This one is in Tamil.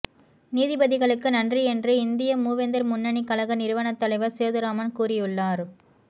நீதிபதிகளுக்கு நன்றி என்று இந்திய மூவேந்தர் முன்னணி கழக நிறுவத்தலைவர் சேதுராமன் கூறியுள்ளார்